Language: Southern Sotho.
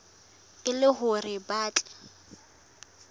e le hore ba tle